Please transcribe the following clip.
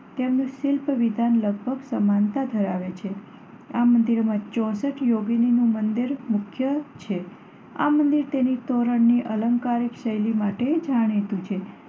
તેમનું શિલ્પવિધાન લગભગ સમાનતા ધરાવે છે. આ મંદિરોમાં ચોસઠ યોગીનીનું મંદિર મુખ્ય છે. આ મંદિર તેની તોરણની અલંકારિક શૈલી માટે જાણીતું છે.